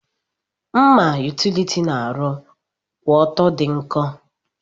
Mma utiliti na arụ kwụọtọ di nkọ.